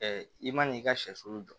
i man n'i ka sɛsulu jɔ